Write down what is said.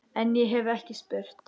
En- ég hef ekki spurt.